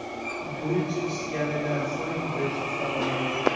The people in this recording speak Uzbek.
Guruch pishganidan so‘ng go‘sht solinadi.